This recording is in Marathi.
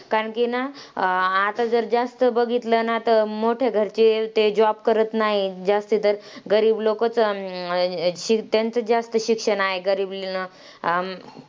कारण की ना, आता जर जास्त बघितलं ना तर मोठ्या घरचे ते job करत नाही. जास्त तर गरीब लोकंच अं शिक त्यांचंच जास्त शिक्षण आहे. गरीब ल अं